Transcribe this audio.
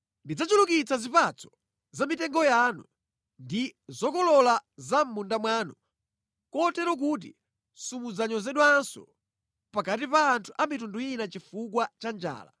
Ndidzachulukitsa zipatso za mʼmitengo yanu ndi zokolola za mʼmunda mwanu, kotero kuti simudzanyozedwanso pakati pa anthu a mitundu ina chifukwa cha njala.